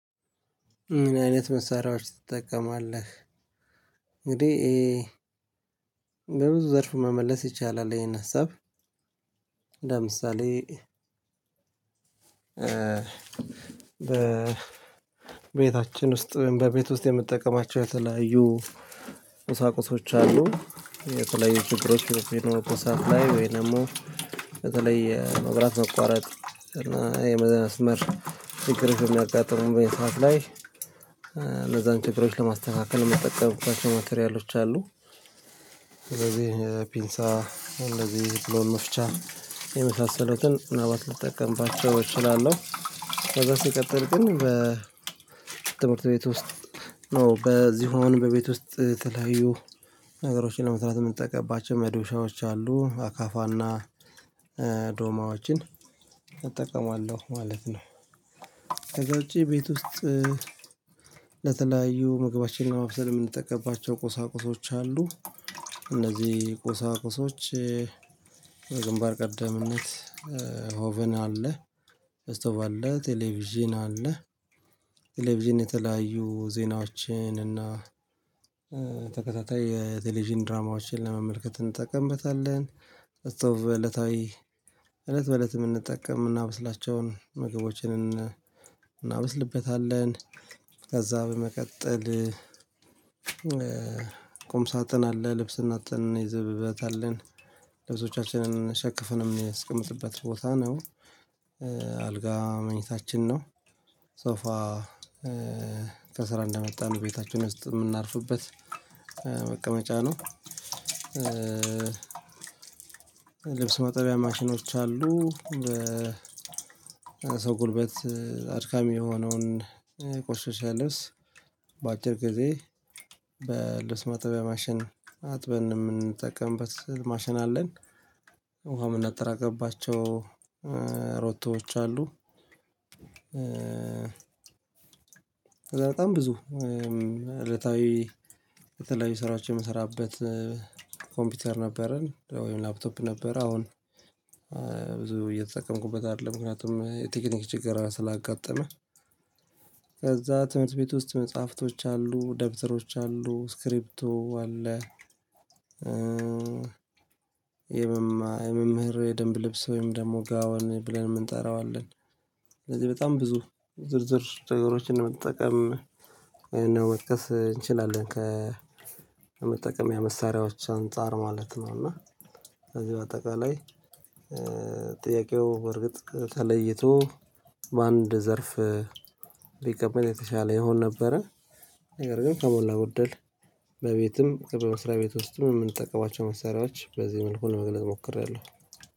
ምን አይነት መሳሪያዎች ትጠቀማለህ እንግዲህ በብዙ ዘርፍ መመለስ ይቻላል ይሄን ሀሳብ ለምሳሌ በቤታችን ውስጥ በቤት ውስጥ የምጠቀማቸው የተለያዩ በተለይ የመብራት መቋረጥ እና መስመር እና ይሄ ትክር የሚያጋጥመው ሰዓት ላይ ለዛን ችግሮች ለማስተካከል የምጠቀምባቸው ማተሪያሎች አሉ ስለዚህ ፒንሳ እንደዚህ ብሎ መፍቻ የመሳሰሉትን ምናልባት ልጠቀምባቸው እችላለሁ ከዛ ሲቀጥል ግን በትምህርት ቤት ውስጥ ነው በዚህ አሁን በቤት ውስጥ ተለያዩ ነገሮችን ለመስራት የምንጠቀምባቸው መዶሻዎች አሉ አካፋና ዶማዎችን እጠቀማለሁ ማለት ነው ከዛ ውጪ ቤት ውስጥ ለተለያዩ ምግቦችንና ለመብሰል የምንጠቀማቸው ቁሳቁሶች አሉ እነዚህ ቁሳቁሶች በግንባር ቀደምነት ሆቨን አለ። እስቶብ አለ ቴሌቪዥን አለ ቴሌቪዥን የተለያዩ ዜናዎችን እና ተከታታይ የቴሌቪዥን ድራማዎችን ለመመልከት እንጠቀምበታለን እስቶብ በእለታዊ በእለት የምንጠቀም የምናበስላቸውን ምግቦችን እናበስልበታለን ከዛ በመቀጠል ቁም ሳጥን አለ ልብስን ሳጥን ይዘበበት ልብሶቻችንን ሸክፍንም የሚናስጥበት ቦታ ነው አልጋ መኝታችን ነው ሶፋ ከስራ እንደመጣን ቤታችን ውስጥ ሚናርፍበት መቀመጫ ነው ልብስ መጠቢያ ማሽኖች አሉ በ ሰው ጉልበት አድካሚ የሆነውን የቆሸሸ ልብስ በአጭር ጊዜ በልብስ ማጠቢያ ማሽን አጥበን ምንጠቀምበት ማሽን አለን ውሃ የምናጠራቅባቸው ሮቶዎች አሉ። ከዛ በጣም ብዙ እለታዊ የተለያዩ ስራዎች የምሰራበት ኮምፒውተር ነበረን ወይም ላፕቶፕ ነበረ አሁን ብዙ እየተጠቀምኩበት አይደለም ምክንያቱም የቴክኒክ ችግር ስላጋጠመ ከዛ ትምህርት ቤት ውስጥ መጽሐፍቶች አሉ ደብተሮች አሉ ስክሪፕቶ አለ። የመምህር ደንብ ልብስ ወይም ደግሞ ጋዋን ብለን የምንጠራው አለን ስለዚህ በጣም ብዙ ዝርዝር ነገሮችን ለመጠቀም ልንወቀስ እንችላለን ከመጠቀምያ መሳሪያዎች አንፃር ማለት ነው እና ከዚህ በአጠቃላይ ጥያቄው በርግጥ ተለይቶ በአንድ ዘርፍ ብቀመጥ የተሻለ ይሆን ነበረ ነገር ግን ከሞላ ጎደል በቤትም ከመስሪያ ቤት ውስጥም ሚንጠቀማቸው መሳሪያዎች በዚህ መልኩ ለመግለጽ ሞክሬያለሁ